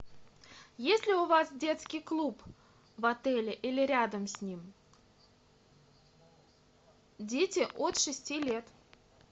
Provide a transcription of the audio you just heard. есть ли у вас детский клуб в отеле или рядом с ним дети от шести лет